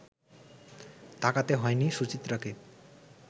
তাকাতে হয়নি সুচিত্রাক